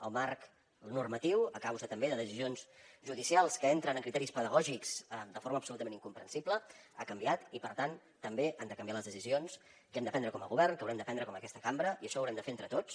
el marc normatiu a causa també de decisions judicials que entren en criteris pedagògics de forma absolutament incomprensible ha canviat i per tant també han de canviar les decisions que hem de prendre com a govern que haurem de prendre en aquesta cambra i això ho haurem de fer entre tots